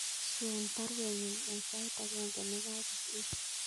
Swen baruenyun en sait agenge nekagosir